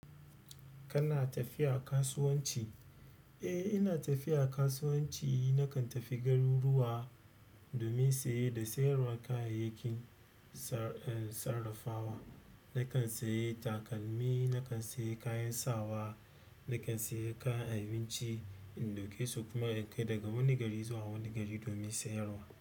Kana tafiya kasuwanci? Eh, ina tafiya kasuwanci. Nakan tafi garuruwa domin saye da sayarwa kayayyakin sarra sarrafawa. Nakan sayi takalmi, nakan sayi kayan sawa, nakan sayi kayan abinci in ɗauke su kuma in kai daga wani gari zuwa wani gari domin sayarwa.